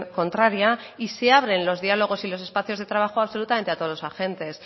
contraria y se abren los diálogos y los espacios de trabajo absolutamente a todos los agentes